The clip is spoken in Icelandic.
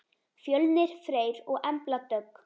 Fjölnir Freyr og Embla Dögg.